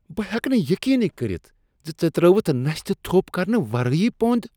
بہٕ ہیٚکہٕ نہٕ یقینٕے کٔرتھ زِ ژےٚ ترٛٲوتھ نستہِ تھوپ کرنہٕ ورٲیی پۄند۔